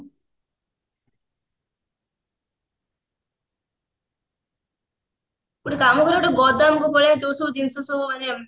ଗୋଟେ କାମ କରିବା ଗୋଟେ ଗୋଦାମ କୁ ପଳେଇବା ଯୋଉ ସବୁ ଜିନିଷ ସବୁ ମାନେ